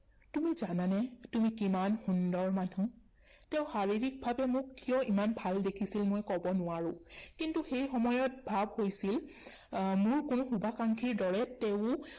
তুমি জানানে তুমি কিমান সুন্দৰ মানুহ। তেওঁ শাৰীৰিক ভাৱে মোক কিয় ইমান ভাল দেখিছিল মই কব নোৱাৰো কিন্তু সেই সময়ত ভাৱ হৈছিল আহ মোৰ কোনো শুভাকাংক্ষীৰ দৰে তেওঁ